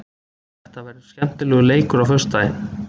Þetta verður skemmtilegur leikur á föstudaginn.